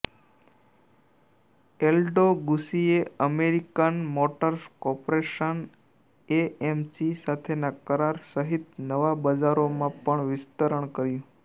Aldo ગૂચીએ American Motors Corporation AMC સાથેના કરાર સહિત નવા બજારોમાં પણ વિસ્તરણ કર્યું